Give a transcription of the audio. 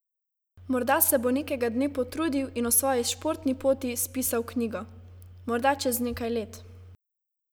Morda se bo nekega dne potrudil in o svoji športni poti spisal knjigo: "Morda čez nekaj let.